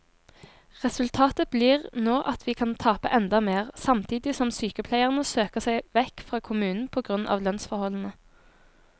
Resultatet blir nå at vi kan tape enda mer, samtidig som sykepleierne søker seg vekk fra kommunen på grunn av lønnsforholdene.